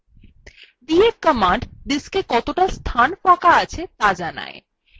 df command diska কতটা ফাঁকা স্থান আছে the জানায়